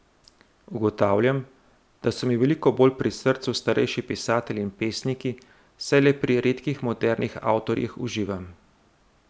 Ugotavljam, da so mi veliko bolj pri srcu starejši pisatelji in pesniki, saj le pri redkih modernih avtorjih uživam.